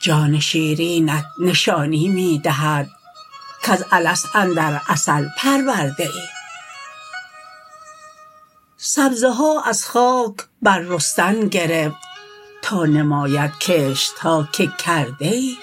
جان شیرینت نشانی می دهد کز الست اندر عسل پرورده ای سبزه ها از خاک بررستن گرفت تا نماید کشت ها که کرده ای